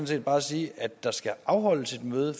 set bare sige at der skal afholdes et møde